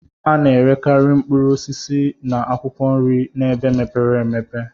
A na-erekarị mkpụrụ osisi na akwụkwọ nri n'ebe mepere emepe..